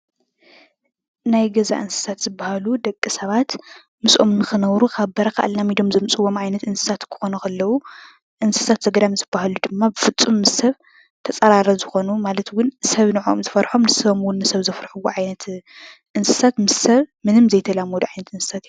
ናይ ገዛ እንስሳት ዝበሃሉ ደቂ ሰባት ምስኦም ንኽነብሩ ካብ በረኻ ኣላሚዶም ዘምፅእዎም ዓይነት እንስሳት ክኾኑ ከለዉ እንስሳት ዘገዳም ዝበሃሉ ድማ ብፍፁም ሰብ ተፃራሪ ዝኾኑ ማለት እውን ሰብ ንዖኦም ዝፈርሖም ንሶም እውን ንሰብ ዘፍርሕዎ ዓይነት እንስሳት ምስ ሰብ ምንም ዘይተላመዱ ዓይነት እንስሳት እዮም።